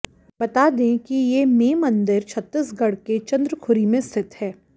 बता दें कि ये में मंदिर छत्तीसगढ़ के चंद्रखुरी में स्थित है